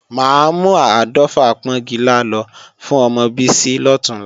Máa mú áàdọ́fà pọ́ńgilá lọ fún ọmọ Bísí lọ̀túnla